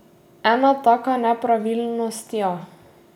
Ena taka nepravilnost, ja.